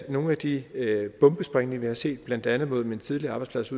nogle af de bombesprængninger vi har set blandt andet imod min tidligere arbejdsplads